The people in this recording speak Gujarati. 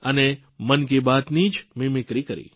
અને મન કી બાતની જ મીમીક્રી કરી